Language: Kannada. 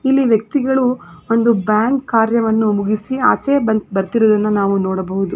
ಎಲ್ಲಿ ವ್ಯಕ್ತಿಗಳು ಒಂದು ಬ್ಯಾಂಕ್ ಕಾರ್ಯವನ್ನು ಮುಗಿಸಿ ಆಚೆ ಬಂ ಬರತ್ತಿರೋದನ್ನ ನಾವು ನೋಡಬಹುದು .